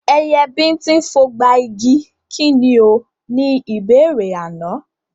Ẹyẹ bíńtín fogba igi, kí ni o? Ni ìbéèrè àná.